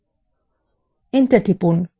enter টিপুন